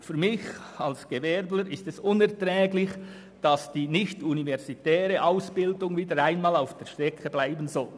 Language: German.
Für mich als Gewerbetreibenden ist es unerträglich, dass die nicht-universitäre Ausbildung wieder einmal auf der Strecke bleiben soll.